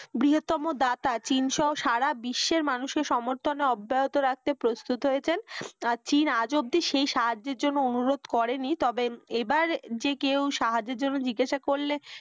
বৃহত্তম দাতা চীন সহ সারা বিশ্বের মানুষকে সমর্থনে আব্যেয়ত রাখতে প্রুস্তুত হয়েছেন চীন আজ অব্দি সেই সাহায্যের জন্য অনুরোধ করেনি তবে এবার সাহায্যর জন্য জিজ্ঞাসা করলে,